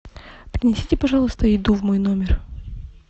принесите пожалуйста еду в мой номер